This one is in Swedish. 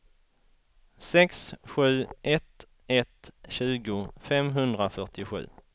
sex sju ett ett tjugo femhundrafyrtiosju